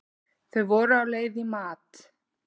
Þau voru á leið í mat.